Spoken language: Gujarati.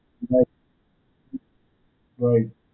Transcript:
right right.